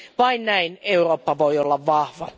Vain näin Eurooppa voi olla vahva.